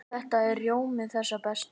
Þetta er rjómi þess besta.